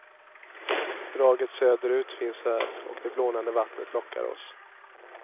Draget söderut finns här och det blånande vattnet lockar oss.